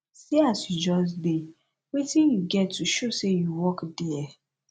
see as you just dey wetin you get to show say you work there